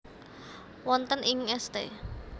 Wonten ing St